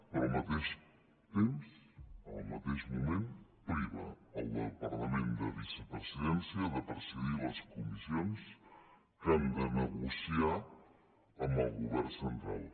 però al mateix temps en el mateix moment priva el departament de vicepresidència de presidir les comissions que han de negociar amb el govern central